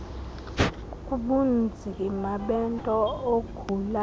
kubunzima bento ogula